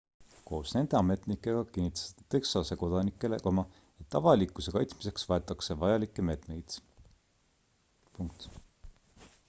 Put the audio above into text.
koos nende ametnikega kinnitas ta texase kodanikele et avalikkuse kaitsmiseks võetakse vajalikke meetmeid